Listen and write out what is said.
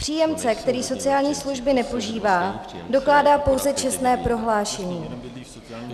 Příjemce, který sociální služby nepoužívá, dokládá pouze čestné prohlášení.